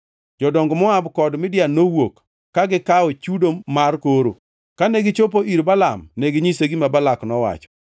Jodong Moab kod Midian nowuok, ka gikawo chudo mar koro. Kane gichopo ir Balaam, neginyise gima Balak nowacho.